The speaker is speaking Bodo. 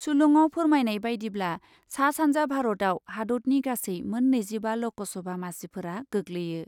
सुलुङाव फोरमायनाय बायदिब्ला , सा सान्जा भारतयाव हादतनि गासै मोन नैजिबा लकसभा मासिफोरा गोग्लैयो ।